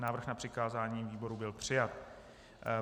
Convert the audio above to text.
Návrh na přikázání výboru byl přijat.